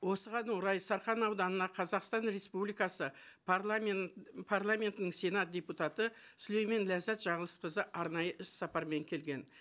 осыған орай сарқан ауданына қазақстан республикасы парламентінің сенат депутаты сүлеймен ләззат жаңылысқызы арнайы іс сапармен келген